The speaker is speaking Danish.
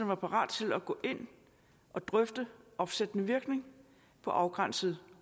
var parat til at gå ind og drøfte opsættende virkning på afgrænsede